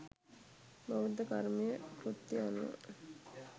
බෞද්ධ කර්මය කෘත්‍යය අනුව